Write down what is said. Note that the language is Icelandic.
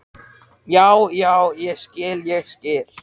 Hann er sofandi og ég vil helst ekki vekja hann.